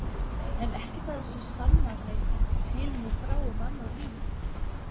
En ekkert af þessu sannar neitt til né frá um annað líf.